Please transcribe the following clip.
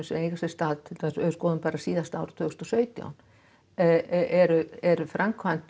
eiga sér stað ef við skoðum bara síðasta ár tvö þúsund og sautján eru eru framkvæmd